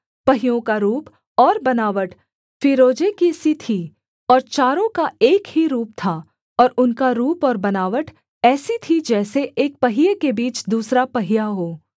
पहियों का रूप और बनावट फीरोजे की सी थी और चारों का एक ही रूप था और उनका रूप और बनावट ऐसी थी जैसे एक पहिये के बीच दूसरा पहिया हो